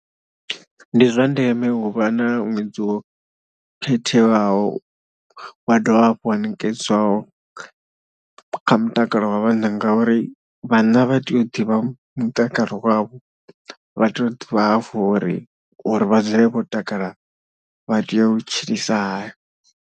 Ndi zwa ndeme u vha na ṅwedzi wo khetheaho wa dovha hafhu wa ṋekedzwaho kha mutakalo wa vhanna ngauri vhanna vha tea u ḓivha mutakalo wavho, vha tea u ḓivha hafhu uri uri vha dzule vho takala vha tea u tshilisa hani.